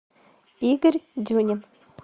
игорь дюнин